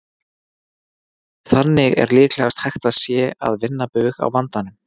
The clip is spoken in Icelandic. Þannig er líklegast að hægt sé að vinna bug á vandanum.